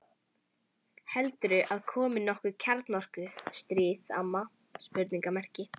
Heldurðu að komi nokkuð kjarnorku- stríð, amma?